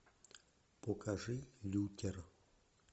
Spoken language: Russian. покажи лютер